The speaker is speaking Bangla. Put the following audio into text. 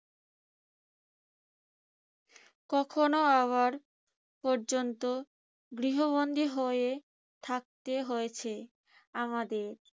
কখনো আবার পর্যন্ত গৃহবন্ধি হয়ে থাকতে হয়েছে আমাদের।